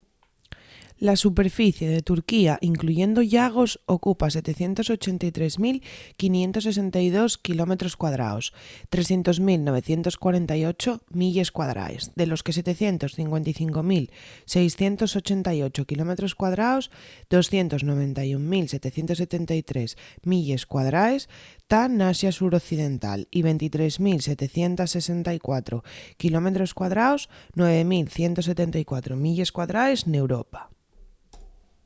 la superficie de turquía incluyendo llagos ocupa 783,562 quilómetros cuadraos 300948 milles cuadraes de los que 755,688 quilómetros cuadraos 291.773 milles cuadraes tán n’asia suroccidental y 23.764 quilómetros cuadraos 9.174 milles cuadraes n’europa